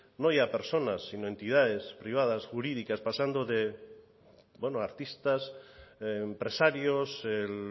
no ya personas sino entidades privadas jurídicas pasando desde artistas empresarios el